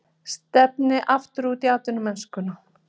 Stefni aftur út í atvinnumennskuna